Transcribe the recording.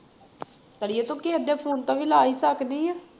ਆੜੀਏ ਤੂੰ ਕਿਸੇ ਦੇ phone ਤੋਂ ਵੀ ਲਾ ਹੀ ਸਕਦੀ ਹੈ।